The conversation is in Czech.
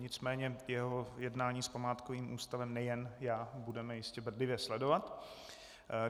Nicméně jeho jednání s památkovým ústavem nejen já budeme jistě bedlivě sledovat.